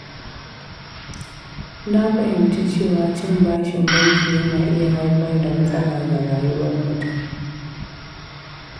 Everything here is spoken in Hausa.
Na fahimci cewa cin bashin banki yana iya haifar da matsala ga rayuwar mutum.